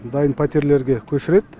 дайын пәтерлерге көшіреді